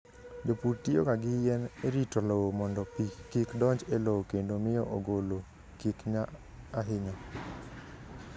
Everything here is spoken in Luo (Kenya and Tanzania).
Jopur tiyoga gi yien e rito lowo mondo pi kik donj e lowo kendo miyo ogolo kik nya ahinya.